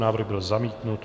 Návrh byl zamítnut.